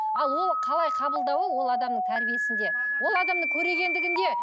ал ол қалай қабылдауы ол адамның тәрбиесінде ол адамның көрегендігінде